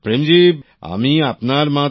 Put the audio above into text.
প্রেম জী আমি আপনার মাধ্যমে